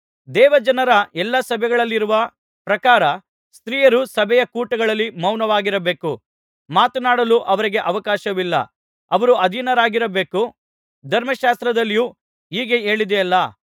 ದೇವಜನರ ಎಲ್ಲಾ ಸಭೆಗಳಲ್ಲಿರುವ ಪ್ರಕಾರ ಸ್ತ್ರೀಯರು ಸಭೆಯ ಕೂಟಗಳಲ್ಲಿ ಮೌನವಾಗಿರಬೇಕು ಮಾತನಾಡಲು ಅವರಿಗೆ ಅವಕಾಶವಿಲ್ಲ ಅವರು ಅಧೀನರಾಗಿರಬೇಕು ಧರ್ಮಶಾಸ್ತ್ರದಲ್ಲಿಯೂ ಹೀಗೆ ಹೇಳಿದೆಯಲ್ಲಾ